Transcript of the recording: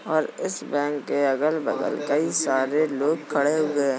और इस बैंक के अगल बगल कई सारे लोग खड़े हुए हैं।